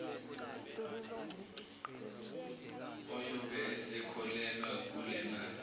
uyobe esekhokhelwa kulemali